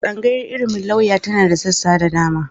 Tsangayar ilimin lauya tana da sassa da dama.